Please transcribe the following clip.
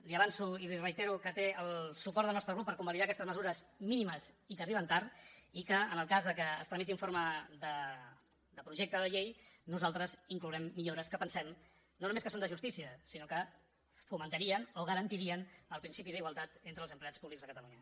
li avanço i li reitero que té el suport del nostre grup per convalidar aquestes mesures mínimes i que arriben tard i que en el cas que es tramiti en forma de projecte de llei nosaltres hi inclourem millores que pensem no només que són de justícia sinó que fomentarien o garantirien el principi d’igualtat entre els empleats públics a catalunya